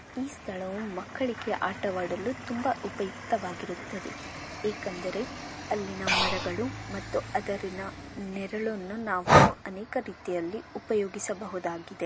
ಈ ಸ್ಥಳವು ಮಕ್ಕಳಿಗೆ ಆಟವಾಡಲು ತುಂಬಾ ಉಪಯುಕ್ತವಾಗಿರುತ್ತದೆ .ಏಕೆಂದರೆ ಅಲ್ಲಿನ ಮರವನ್ನು ನೆರಳನ್ನು ನಾವು ಅನೇಕ ರೀತಿಯಲ್ಲಿ ಉಪಯೋಗಿಸಬಹುದಾಗಿದೆ.